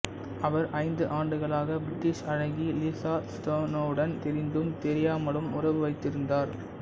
அவர் ஐந்து ஆண்டுகளாக பிரிட்டிஷ் அழகி லிசா ஸ்னோடனுடன் தெரிந்தும்தெரியாமலும் உறவு வைத்திருந்தார்